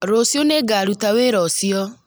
Rũciũ nĩ ngaruta wĩra ũcio